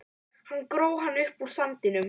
Hann gróf hana upp úr sandinum!